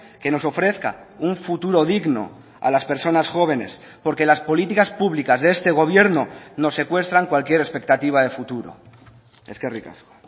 que nos ofrezca un futuro digno a las personas jóvenes porque las políticas públicas de este gobierno nos secuestran cualquier expectativa de futuro eskerrik asko